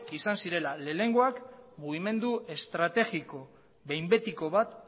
izan zirela lehenengoak mugimendu estrategiko behin betiko bat